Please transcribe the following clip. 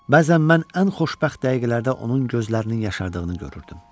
Bəzən mən ən xoşbəxt dəqiqələrdə onun gözlərinin yaşadığını görürdüm.